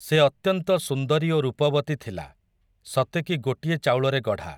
ସେ ଅତ୍ୟନ୍ତ ସୁନ୍ଦରୀ ଓ ରୂପବତୀ ଥିଲା, ସତେକି ଗୋଟିଏ ଚାଉଳରେ ଗଢ଼ା ।